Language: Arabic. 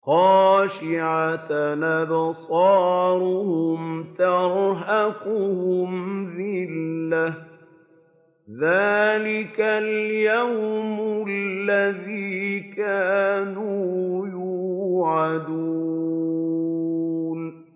خَاشِعَةً أَبْصَارُهُمْ تَرْهَقُهُمْ ذِلَّةٌ ۚ ذَٰلِكَ الْيَوْمُ الَّذِي كَانُوا يُوعَدُونَ